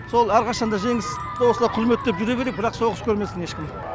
сол әрқашанда жеңіс осылай құрметтеп жүре берейік бірақ соғыс көрмесін ешкім